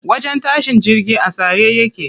Wajen tashin jirgi a tsare yake.